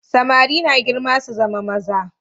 Samari na girma su zama maza.